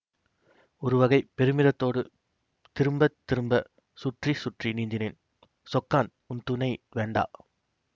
ஒருவகைப் பெருமிதத்தோடு திரும்ப திரும்ப சுற்றி சுற்றி நீந்தினேன் சொக்கான் உன் துணை வேண்டா